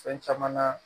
Fɛn caman na